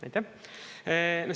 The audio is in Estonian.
Aitäh!